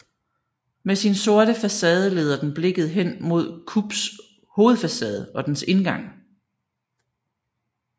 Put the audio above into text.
Med sin sorte facade leder den blikket hen mod KUBS hovedfacade og dens indgang